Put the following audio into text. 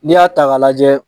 N'i y'a ta k'a lajɛ